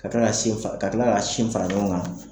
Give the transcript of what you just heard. Ka tila ka sin fa ka tila ka sin fara ɲɔŋɔn ŋan